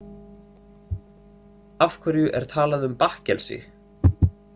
Af hverju er talað um bakkelsi?